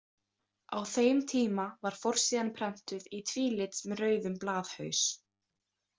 Á þeim tíma var forsíðan prentuð í tvílit með rauðum blaðhaus.